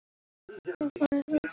Var ég að vekja þig?